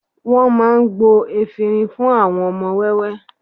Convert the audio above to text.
Wọ́n máa gbo efinrin fún àwọn ọmọ wẹ́wẹ́